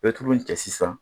I bɛ tulu in cɛ sisan